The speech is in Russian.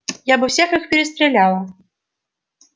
я бы всех их перестреляла